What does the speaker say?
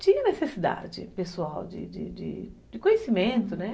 Tinha necessidade pessoal de de de conhecimento, né?